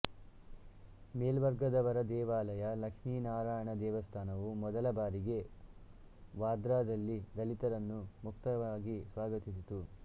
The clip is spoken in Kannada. ಮೇಲ್ವರ್ಗದವರ ದೇವಾಲಯ ಲಕ್ಷ್ಮಿನಾರಾಯಣ ದೇವಸ್ಥಾನವು ಮೊದಲ ಬಾರಿಗೆ ವಾರ್ಧಾದಲ್ಲಿ ದಲಿತರನ್ನು ಮುಕ್ತವಾಗಿ ಸ್ವಾಗತಿಸಿತು